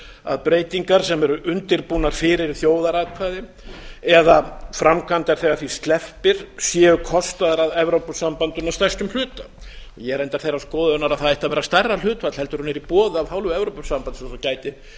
að breytingar sem eru undirbúnar fyrir þjóðaratkvæði eða framkvæmdar þegar því sleppir séu kostaðar af evrópusambandinu að stærstum hluta ég er reyndar þeirrar skoðunar að það ætti að vera stærra hlutfall heldur en er í boði af hálfu evrópusambandsins og gæti fært